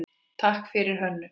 Takk fyrir Hönnu.